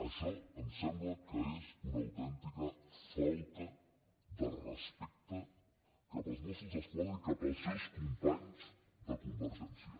això em sembla que és una autèntica falta de respecte cap als mossos d’esquadra i cap als seus companys de convergència